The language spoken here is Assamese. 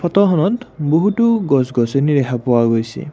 ফটোখনত বহুতো গছ-গছনি দেখা পোৱা গৈছে।